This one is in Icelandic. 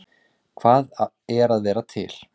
Hvað er að vera til?